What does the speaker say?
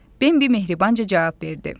Bembidə mehrabanca cavab verdi.